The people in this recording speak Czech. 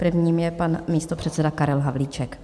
Prvním je pan místopředseda Karel Havlíček.